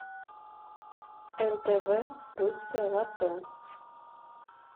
нтв русское лото